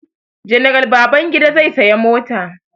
General Babangida zai saya mota.